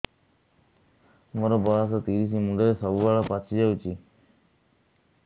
ମୋର ବୟସ ତିରିଶ ମୁଣ୍ଡରେ ସବୁ ବାଳ ପାଚିଯାଇଛି